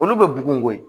Olu bɛ bugun koyi